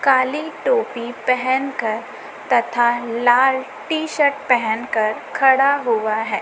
काली टोपी पहन कर तथा लाल टी शर्ट पहन कर खड़ा हुआ है।